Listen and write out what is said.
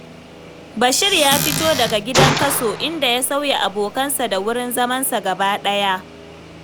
Bashir ya fito daga gidan kaso, inda ya sauya abokansa da wurin zamansa gaba ɗaya.